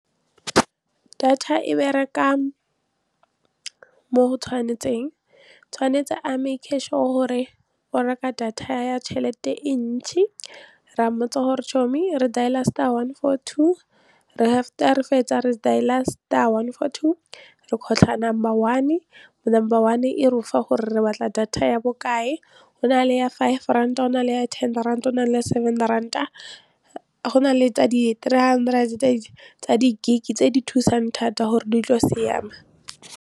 Data e bereka mo go tshwanetseng tshwanetse a make-e sure o gore o reka data ya tšhelete e ntšhi re a mmotsa gore re dail-a star one foor two after re fetsa re dail-a star one four two re kgotlha number one number one e refa gore re batla data ya bokae, go na le ya five rand go na le ya ten rand go na le seven randa go na le tsa di-three hundred tsa di-gig tse di thusang thata gore ditlo siama.